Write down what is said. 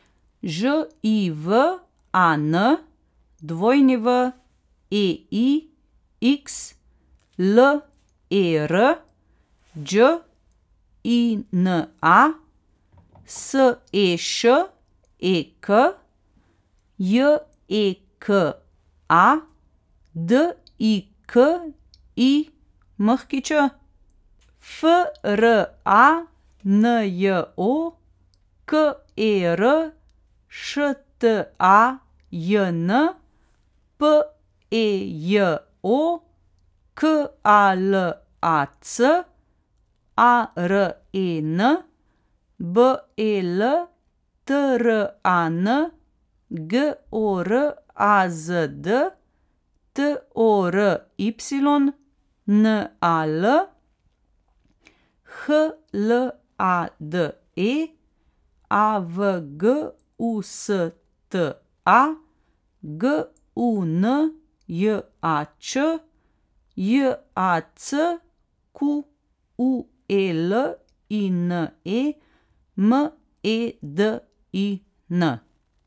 Ž I V A N, W E I X L E R; Đ I N A, S E Š E K; J E K A, D I K I Ć; F R A N J O, K E R Š T A J N; P E J O, K A L A C; A R E N, B E L T R A N; G O R A Z D, T O R Y; N A L, H L A D E; A V G U S T A, G U N J A Č; J A C Q U E L I N E, M E D I N.